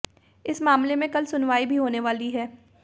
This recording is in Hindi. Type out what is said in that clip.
इस मामले में कल सुनवाई भी होने वाली है